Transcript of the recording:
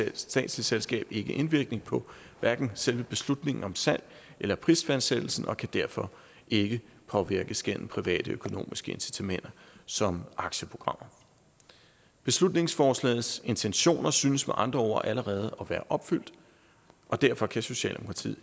et statsligt selskab ikke indvirkning på selve beslutningen om salg eller prisfastsættelsen og kan derfor ikke påvirkes gennem privatøkonomiske incitamenter som aktieprogrammer beslutningsforslagets intentioner synes med andre ord allerede at være opfyldt og derfor kan socialdemokratiet